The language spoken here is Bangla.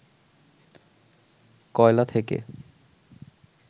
কয়লা থেকে